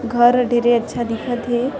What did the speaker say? घर डरे अच्छा दिखत हे ।--